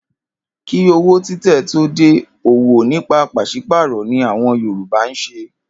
Kí owó títẹ̀ tó dé, òwò nípa pàs̩ípàrò̩ ni àwo̩n Yorùbá ń s̩e